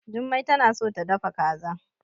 Jummai tana so ta dafa kaza.